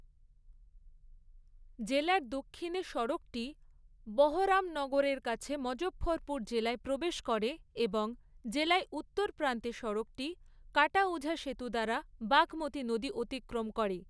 জেলার দক্ষিণে সড়কটি বহরামনগরের কাছে মজঃফরপুর জেলায় প্রবেশ করে এবং জেলায় উত্তর প্রান্তে সড়কটি কাটাউঝা সেতু দ্বারা বাঘমতি নদী অতিক্রম করে।